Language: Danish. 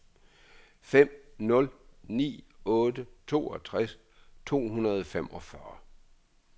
fem nul ni otte toogtres to hundrede og femogfyrre